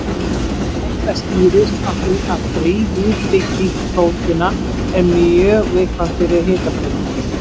Þetta skýrist af því að þrívíð bygging prótína er mjög viðkvæm fyrir hitabreytingum.